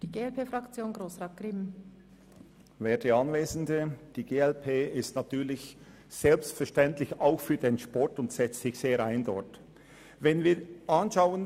Die glp-Fraktion ist selbstverständlich auch für den Sport und setzt sich dort sehr ein.